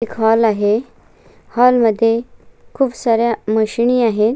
Hall आहे hall मध्ये खुप साऱ्या मशीन आहेत.